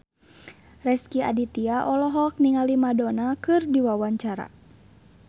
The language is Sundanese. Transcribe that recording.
Rezky Aditya olohok ningali Madonna keur diwawancara